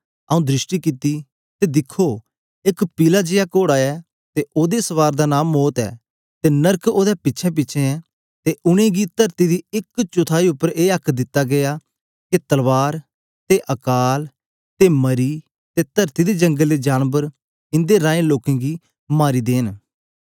आऊँ दृष्टि कित्ती ते दिखो एक पिला जेया कोड़ा ऐ ते ओदे सवार दा नां मौत ऐ ते नरक ओदे पिछेंपिछें ऐ ते उनेंगी तरती दी एक चौथाई उपर ए आक्क दिता गीया के तलवार ते अकाल ते मरी ते तरती दे जंगल दे जानबर इंदे रहें लोकें गी मारी देंन